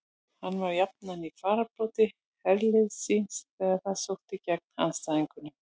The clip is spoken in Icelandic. Hann var jafnan í fararbroddi herliðs síns þegar það sótti gegn andstæðingunum.